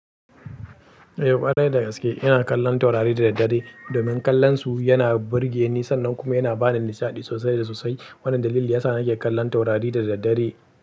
Eh ƙwarai da gaske ina kallon taurari da daddare domin kallonsu yana burge ni sannan kuma yana bani nishaɗi sosai da sosai. Wannan dalili yasa nake kallon taurari da daddare.